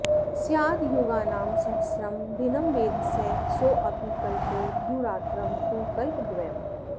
स्याद् युगानां सहस्रं दिनं वेधसः सोऽपि कल्पो द्युरात्रं तु कल्पद्वयम्